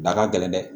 Da ka gɛlɛn dɛ